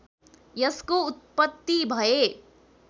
यसको उत्पत्ति भए